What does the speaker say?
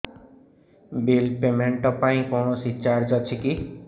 bill payment ପାଇଁ କୌଣସି charge ଅଛି କି